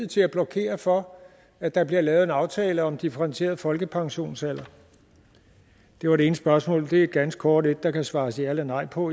til at blokere for at der bliver lavet en aftale om en differentieret folkepensionsalder det var det ene spørgsmål og det er et ganske kort et der kan svares ja eller nej på